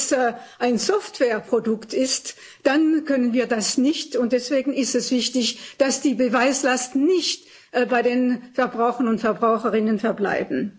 Wenn es ein Softwareprodukt ist, dann können wir das allerdings nicht, und deswegen ist es wichtig, dass die Beweislast nicht bei den Verbrauchern und Verbraucherinnen verbleibt.